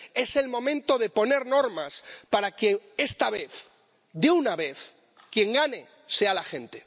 Es el momento de poner normas para que esta vez, de una vez, quien gane sea la gente.